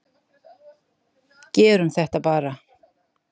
Gerum þetta bara!